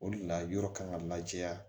O de la yɔrɔ kan ka lajɛ